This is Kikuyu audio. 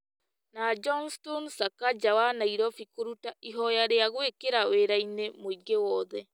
na Johnstone Sakaja wa Nairobi kũruta ihoya rĩa gwĩkĩra wira-inĩ mũingĩ wothe.